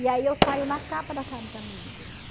E aí eu saio na capa da Caros Amigos.